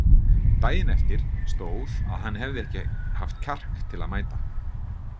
Daginn eftir stóð að hann hefði ekki haft kjark til að mæta.